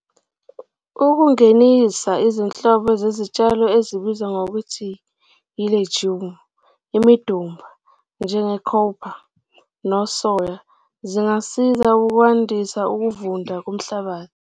Ukungenisa izinhlobo zezitshalo ezibizwa ngokuthi i'legume', imidumba, njenge'cowpea' nosoya zingasiza ukwandisa ukuvunda komhlabathi.